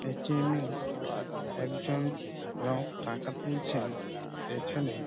এ .T. M . -এ একজন লোক টাকা তুলছে পেছনে--